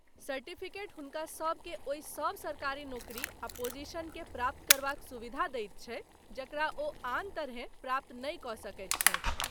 Certificate हुनका सबके ओहि सब सरकारी नौकरी आ पोजीशन के प्राप्त करबाक सुविधा दैत छै जकरा ओ आन तरहेँ प्राप्त नहि कऽ सकै छथि।